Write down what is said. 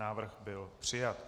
Návrh byl přijat.